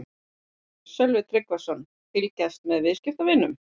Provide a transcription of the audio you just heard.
Sölvi Tryggvason: Fylgjast með viðskiptavinunum?